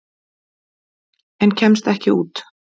En kemst ekki út.